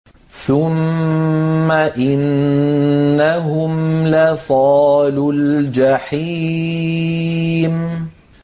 ثُمَّ إِنَّهُمْ لَصَالُو الْجَحِيمِ